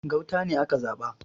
Gauta ne aka zaba